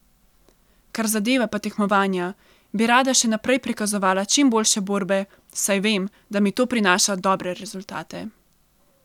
Kar zadeva pa tekmovanja, bi rada še naprej prikazovala čim boljše borbe, saj vem, da mi to prinaša dobre rezultate.